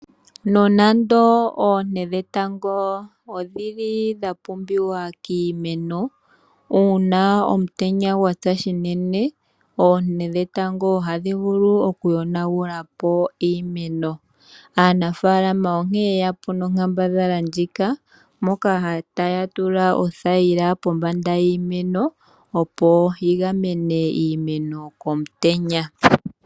Nonando oonte dhetango odhili dhapumbiwa kiimeno .uuna omutenya gwatsa unene oonte dhetango ohadhi vulu oku yonagulapo iimeno ,aanangeshefa oyeyapo nonkambadhala ndjoka moka taya tula othayila pombanda iimeno opo yi gamene iimeno komutenya.